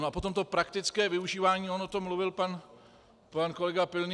No a potom to praktické využívání, on o tom mluvil pan kolega Pilný.